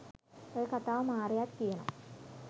ඔය කතාව මාරයත් කියනවා.